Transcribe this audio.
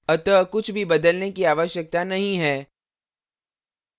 अतः कुछ भी बदलने की आवश्यकता नहीं है